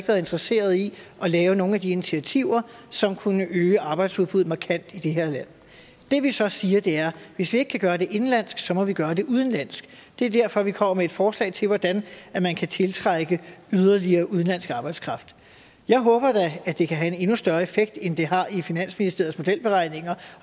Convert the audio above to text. været interesseret i at lave nogen af de initiativer som kunne øge arbejdsudbuddet markant i det her land det vi så siger er hvis vi ikke kan gøre det indenlandsk må vi gøre det udenlandsk det er derfor vi kommer med et forslag til hvordan man kan tiltrække yderligere udenlandsk arbejdskraft jeg håber da at det kan have en endnu større effekt end det har i finansministeriets modelberegninger